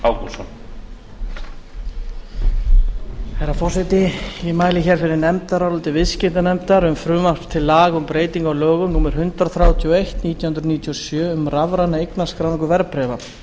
herra forseti ég mæli fyrir nefndaráliti viðskiptanefndar um frumvarp til laga um breytingu á lögum númer hundrað þrjátíu og eitt nítján hundruð níutíu og sjö um rafræna eignarskráningu verðbréfa